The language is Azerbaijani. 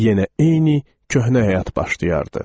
Yenə eyni köhnə həyat başlayardı.